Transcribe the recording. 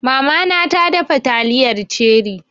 Mama na ta dafa taliyar ceri